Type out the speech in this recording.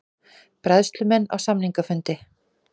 Bræðslumenn á samningafundi